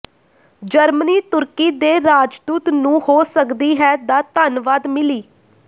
Germany ਤੁਰਕੀ ਦੇ ਰਾਜਦੂਤ ਨੂੰ ਹੋ ਸਕਦੀ ਹੈ ਦਾ ਧੰਨਵਾਦ ਮਿਲੀ